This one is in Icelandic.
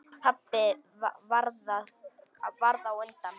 Pabbi varð á undan.